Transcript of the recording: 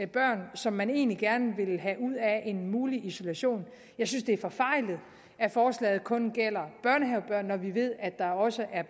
børn som man egentlig gerne vil have ud af en mulig isolation og jeg synes det er forfejlet at forslaget kun gælder børnehavebørn når vi ved der også er